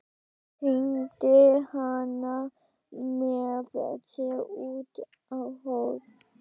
Teymdi hana með sér út á horn.